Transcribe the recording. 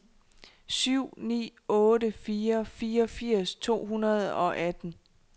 syv ni otte fire fireogfirs to hundrede og atten